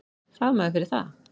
Fagmaður fyrir það.